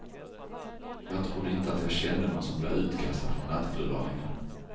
Jag trodde inte att jag kände nån som blev utkastad från nattklubbar längre.